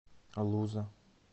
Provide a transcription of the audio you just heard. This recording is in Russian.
луза